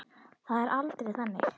Það er aldrei þannig.